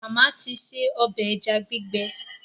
Màmá ti ṣe ọbẹ̀ ẹja gbígbẹ